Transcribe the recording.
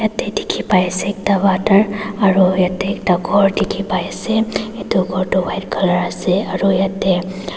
ate dikhipaiase ekta water aro yatae ekta khor dikhipaiase edu khor tu white colour ase aru yatae.